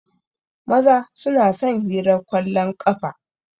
Maza su na son hirar kwallon ƙafa.